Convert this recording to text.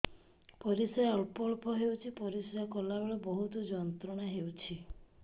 ପରିଶ୍ରା ଅଳ୍ପ ଅଳ୍ପ ହେଉଛି ପରିଶ୍ରା କଲା ବେଳେ ବହୁତ ଯନ୍ତ୍ରଣା ହେଉଛି